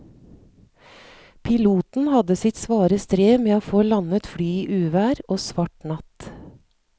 Piloten hadde sitt svare strev med å få landet flyet i uvær og svart natt.